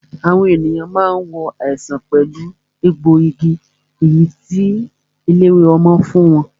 Àwọn ènìyàn máa ń wo àìsàn pẹ̀lú egbòogi èyí tí eléwé ọmọ fún wọn